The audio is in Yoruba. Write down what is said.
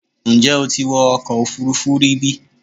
Ǹjẹ́ o ti wọ ọkọ̀ òfuurufú rí bí?